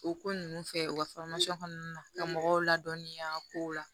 O ko ninnu fɛ u ka kɔnɔna ka mɔgɔw ladɔnniya kow la